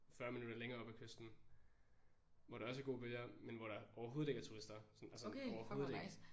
40 minutter længere oppe af kysten hvor der også er gode bølger men hvor der overhovedet ikke er turister sådan og sådan overhovedet ikke